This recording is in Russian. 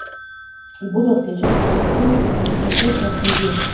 и буду отключать все устройства выходить на связь раз в неделю